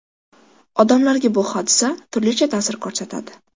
Odamlarga bu hodisa turlicha ta’sir ko‘rsatadi.